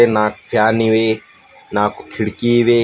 ನಾಕ ಫ್ಯಾನ್ ಇವೆ ನಾಕು ಕಿಡಕಿ ಇವೆ.